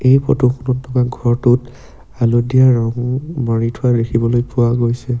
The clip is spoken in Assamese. এই ফটো খনত থকা ঘৰটোত হালধীয়া ৰং মাৰি থোৱা দেখিবলৈ পোৱা গৈছে।